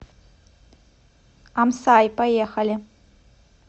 амсай поехали